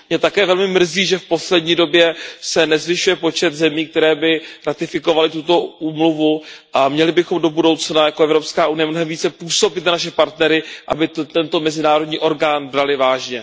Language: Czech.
Mě také velmi mrzí, že se v poslední době nezvyšuje počet zemí, které by ratifikovaly tuto úmluvu, a měli bychom do budoucna jako Evropská unie mnohem více působit na naše partnery, aby tento mezinárodní orgán brali vážně.